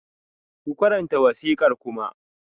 Ku karanta wasiƙar Kuma!